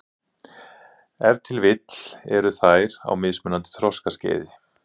Ef til vill eru þær á mismunandi þroskaskeiði.